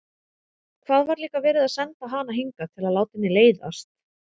Hvað var líka verið að senda hana hingað til að láta henni leiðast?